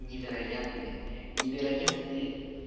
невероятные невероятные